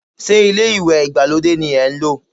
Ṣé ilé ìwẹ̀ ìgbàlódé ni ẹ ń lò?